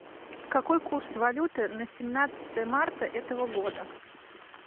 какой курс валюты на семнадцатое марта этого года